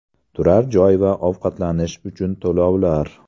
Turar joy va ovqatlanish uchun to‘lovlar.